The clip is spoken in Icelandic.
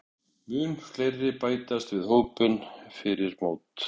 Munu fleiri bætast við hópinn fyrir mót?